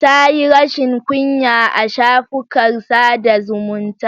Ta yi rashin kunya a shafukan sada zumunta.